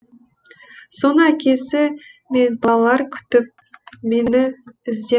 соны әкесі мен балалар күтіп мені іздеп